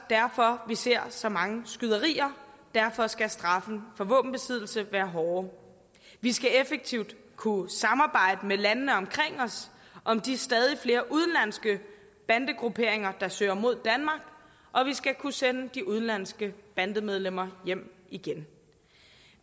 derfor vi ser så mange skyderier derfor skal straffen for våbenbesiddelse være hårdere vi skal effektivt kunne samarbejde med landene omkring os om de stadig flere udenlandske bandegrupperinger der søger mod danmark og vi skal kunne sende de udenlandske bandemedlemmer hjem igen